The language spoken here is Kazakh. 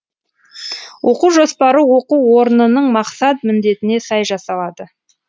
оқу жоспары оқу орнының мақсат міндетіне сай жасалады